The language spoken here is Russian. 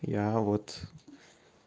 я вот